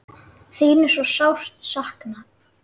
Þín er svo sárt saknað.